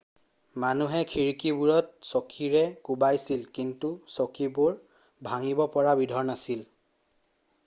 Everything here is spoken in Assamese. মানুহে খিৰিকিবোৰত চকীৰে কোবাইছিল কিন্তু চকীবোৰ ভাঙিব পৰা বিধৰ নাছিল